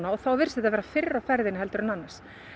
og þá virðist þetta vera fyrr á ferðinni heldur en annars